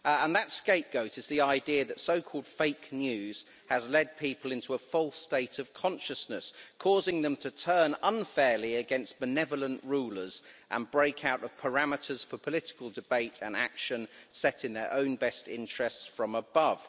And that scapegoat is the idea that so called fake news' has led people into a false state of consciousness, causing them to turn unfairly against benevolent rulers and break out of parameters for political debate and action set in their own best interests from above.